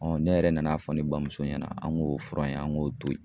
ne yɛrɛ nan'a fɔ ne bamuso ɲɛna , an k'o fura in, an k'o to yen.